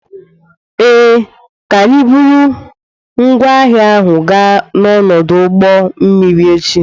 Ee, ka anyi buru ngwaahia ahụ gaa n'ọdụ ụgbọ mmiri echi.